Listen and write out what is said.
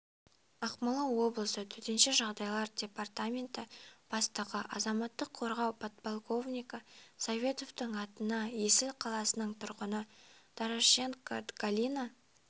ақмола облысы төтенше жағдайлар департаменті бастығы азаматтық қорғау подполковнигі советовтың атына есіл қаласының тұрғыны дорошенко галина